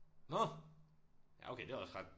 Nåh ja okay det er også ret